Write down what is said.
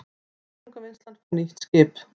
Þörungavinnslan fær nýtt skip